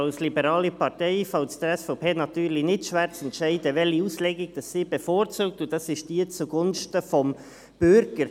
Als liberaler Partei fällt es der SVP natürlich nicht schwer zu entscheiden, welche Auslegung sie bevorzugt, nämlich diejenige zugunsten des Bürgers.